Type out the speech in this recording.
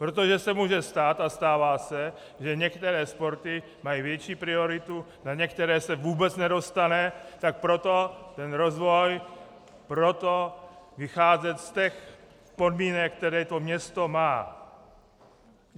Protože se může stát a stává se, že některé sporty mají větší prioritu, na některé se vůbec nedostane, tak proto ten rozvoj, proto vycházet z těch podmínek, které to město má.